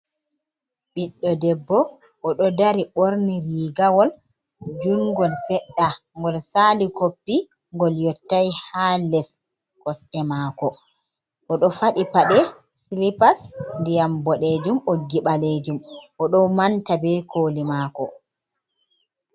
Ɓiɗdo debbo o ɗo dari ɓorni rigawol jungol seɗɗa ngol sali koppi ngol yottai ha les kosɗe mako o ɗo faɗi paɗe silipas ndiyam boɗejum ɓoggi ɓalejum o ɗo manta be koli mako.